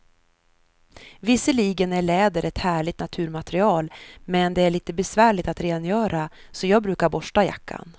Visserligen är läder ett härligt naturmaterial, men det är lite besvärligt att rengöra, så jag brukar borsta jackan.